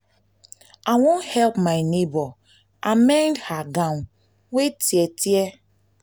i wan help my nebor amend her gown wey tear. tear.